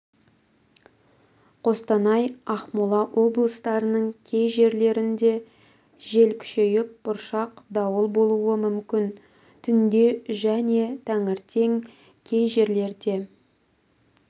қостанай ақмола облыстарының кей жерлерінде жел күшейіп бұршақ дауыл болуы мүмкін түнде және таңертең кей жерлерде